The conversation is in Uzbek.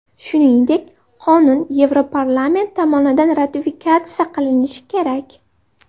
Shuningdek, qonun Yevroparlament tomonidan ratifikatsiya qilinishi kerak.